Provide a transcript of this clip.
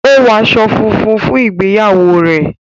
o wọ aṣọ fúnfún fún ìgbéyàwó rẹ